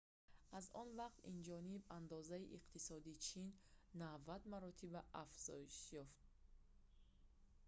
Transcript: аз он вақт инҷониб андозаи иқтисодии чин 90 маротиба афзоиш ёфт